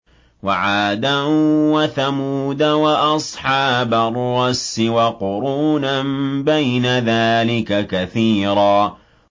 وَعَادًا وَثَمُودَ وَأَصْحَابَ الرَّسِّ وَقُرُونًا بَيْنَ ذَٰلِكَ كَثِيرًا